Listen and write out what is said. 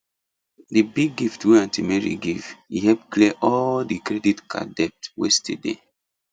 the big gift wey aunt mary give e help clear all the credit card debt wey still dey